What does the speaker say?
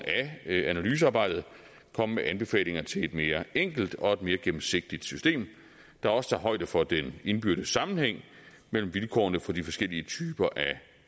af analysearbejdet komme med anbefalinger til et mere enkelt og et mere gennemsigtigt system der også tager højde for den indbyrdes sammenhæng mellem vilkårene for de forskellige typer af